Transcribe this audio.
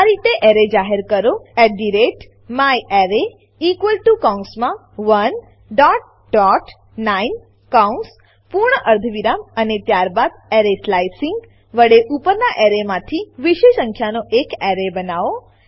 આ રીતે એરે જાહેર કરો myArray કૌંસમાં 19 કૌંસ પૂર્ણ અર્ધવિરામ અને ત્યારબાદ એરે સ્લાઇસિંગ સ્લાઈસીંગ વડે ઉપરનાં એરેમાંથી વિષમ સંખ્યાનો એક એરે બનાવો